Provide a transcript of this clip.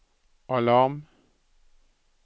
alarm